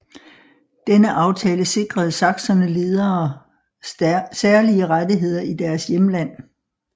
Denne aftale sikrede sakserne ledere særlige rettigheder i deres hjemland